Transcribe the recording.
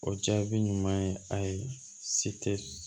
O jaabi ɲuman ye a ye se tɛ